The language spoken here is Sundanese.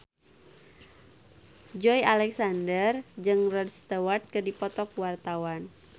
Joey Alexander jeung Rod Stewart keur dipoto ku wartawan